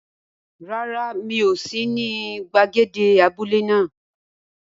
Rárá, mi ò sí ní gbàgede abúlé náà.